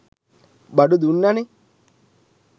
බඩු දුන්නනේ.